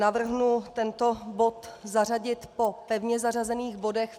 Navrhuji tento bod zařadit po pevně zařazených bodech.